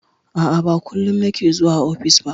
A'a, ba kullum nake zuwa ofis ba.